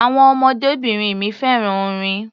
Àwọn ọmọdébìnrin mi fẹ́ràn orin.